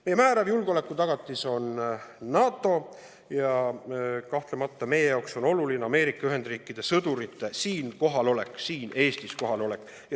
Meie määrav julgeolekutagatis on NATO ja kahtlemata on meie jaoks oluline Ameerika Ühendriikide sõdurite kohalolek siin Eestis.